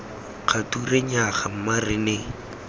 kgature nnyaya mma re ne